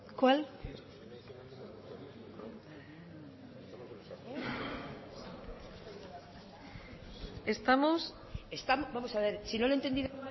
cuál vamos a ver si no le he entendido